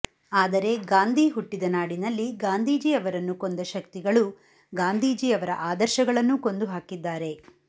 ಆದರೆ ಗಾಂಧಿ ಹುಟ್ಟಿದ ನಾಡಿನಲ್ಲಿ ಗಾಂಧಿಜೀ ಅವರನ್ನು ಕೊಂದ ಶಕ್ತಿಗಳು ಗಾಂಧಿಜೀ ಅವರ ಆದರ್ಶಗಳನ್ನೂ ಕೊಂದುಹಾಕಿದ್ದಾರೆ